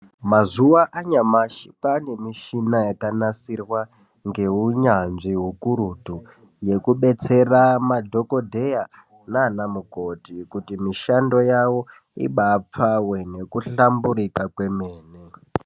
Mazuwa anyamashi kwane mishina yakanasirwa neunyanzvi ukurutu yekudetsera madhokoteya nana mukoti kuti mishando yawo ibapfave nekuhlamburika kwemene.